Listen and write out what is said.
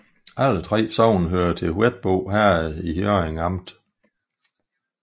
Alle 3 sogne hørte til Hvetbo Herred i Hjørring Amt